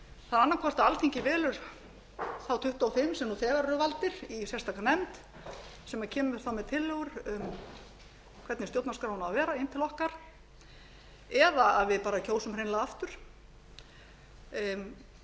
annað hvort að alþingi velur þá tuttugu og fimm sem nú þegar eru valdir í sérstaka nefnd sem kemur þá með tillögur um hvernig stjórnarskráin á að vera inn til okkar eða að við bara kjósum hreinlega aftur og